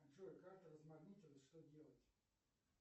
джой карта размагнитилась что делать